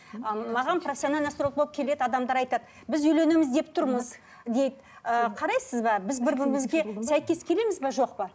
ы маған профессионально болып келеді адамдар айтады біз үйленеміз деп тұрмыз дейік ы қарайсыз ба біз бір бірімізге сәйкес келеміз бе жоқ па